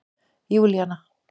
Júlían